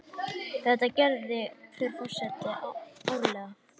Þetta gerir hver forseti árlega.